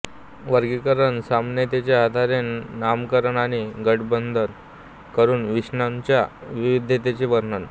वर्गीकरण समानतेच्या आधारे नामकरण आणि गटबद्ध करून विषाणूंच्या विविधतेचे वर्णन